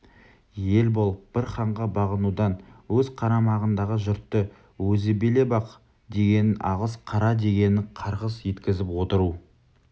ел болып бір ханға бағынудан өз қарамағындағы жұртты өзі билеп ақ дегенін алғыс қара дегенін қарғыс еткізіп отыру